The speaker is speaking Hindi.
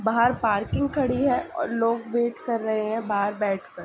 बाहर पार्किंग खड़ी है और लोग वेट कर रहे हैं बाहर बैठकर।